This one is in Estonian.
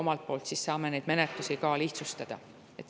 Omalt poolt saame neid menetlusi ka lihtsustada.